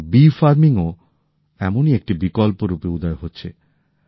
এখন মৌমাছি পালনও এমনই একটি বিকল্প হিসেবে উঠে হয়েছে